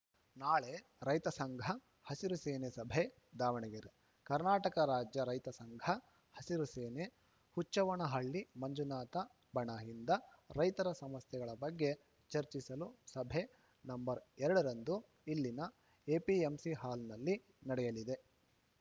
ನಾಳೆ ರೈತ ಸಂಘಹಸಿರು ಸೇನೆ ಸಭೆ ದಾವಣಗೆರೆ ಕರ್ನಾಟಕ ರಾಜ್ಯ ರೈತ ಸಂಘ ಹಸಿರು ಸೇನೆಹುಚ್ಚವ್ವನಹಳ್ಳಿ ಮಂಜುನಾಥ ಬಣಯಿಂದ ರೈತರ ಸಮಸ್ಯೆಗಳ ಬಗ್ಗೆ ಚರ್ಚಿಸಲು ಸಭೆ ನಂಬರ್ ಎರಡರಂದು ಇಲ್ಲಿನ ಎಪಿಎಂಸಿ ಹಾಲ್‌ನಲ್ಲಿ ನಡೆಯಲಿದೆ